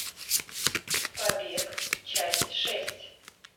побег часть шесть